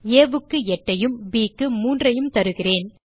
ஆ க்கு 8 ஐயும் ப் க்கு 3 ஐயும் தருகிறேன்